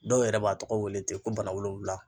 Dɔw yɛrɛ b'a tɔgɔ wele ten ko bana wolonwula.